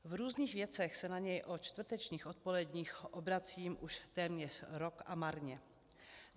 V různých věcech se na něj o čtvrtečních odpoledních obracím už téměř rok a marně.